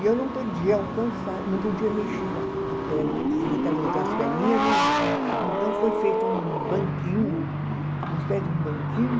E eu não podia alcançar, não podia mexer a a per, as perninhas não, então foi feito um banquinho, uma espécie de um banquinho,